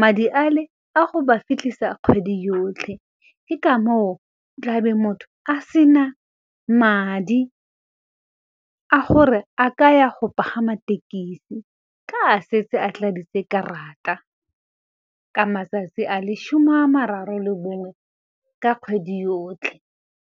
Madi a le a go ba fitlhisa kgwedi yotlhe, ke ka moo tlabe motho a sena madi a gore a ka ya go pagama thekisi, ka a setse a tladitse karata ka matsatsi a le shome a mararo le bongwe ka kgwedi yotlhe.